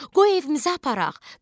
Qoy evimizə aparaq.